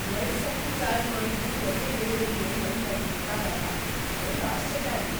ಎರಡ್ ಸರ್ತಿ ಚಾರ್ಜ್ ಮಾಡಿದ್ರು ಒಂದೇ ಡೆಲಿವರಿಗೆ ನಂಗ್ ಅಂತ್ ಗೊತ್ತಾದಾಗ್ ನಂಗ್ ಆಶ್ಚರ್ಯ ಆಯ್ತು.!